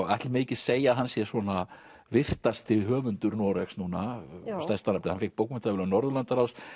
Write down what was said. ætli megi ekki segja að hann sé svona virtasti höfundur Noregs núna stærsta nafnið hann fékk bókmenntaverðlaun Norðurlandaráðs